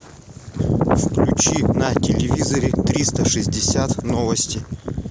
включи на телевизоре триста шестьдесят новости